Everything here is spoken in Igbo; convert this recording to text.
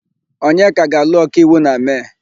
Onyeka ga-alụ ọkaiwu na Mee.